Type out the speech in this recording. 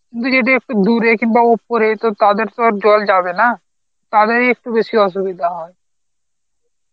তুই যদি একটু দূরে কিংবা ওপরে তো তাদের তো আর জল যাবেনা তাদেরই একটু বেশি অসুবিধা হয়